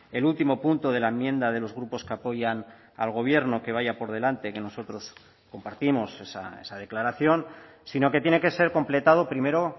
el último punto de la enmienda de los grupos que apoyan al gobierno que vaya por delante que nosotros compartimos esa declaración sino que tiene que ser completado primero